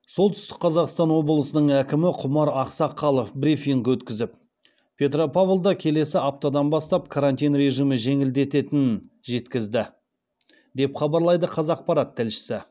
солтүстік қазақстан облысының әкімі құмар ақсақалов брифинг өткізіп петропавлда келесі аптадан бастап карантин режимі жеңілдететінін жеткізді деп хабарлайды қазақпарат тілшісі